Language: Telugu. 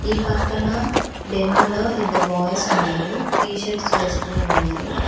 ఈ పక్కన డెమో లో ఇద్దరు బాయ్స్ ఉన్నారు టీషర్ట్స్ వేసుకొని ఉన్నారు.